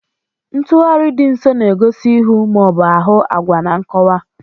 Ntugharị dị nso na-egosi ihu ma ọ bụ ahụ agwa na nkọwa.